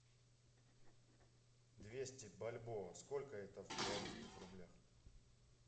двести бальбоа сколько это в белорусских рублях